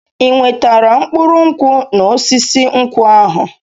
Ị nwetara mkpụrụ nkwụ n'osisi nkwụ ahụ?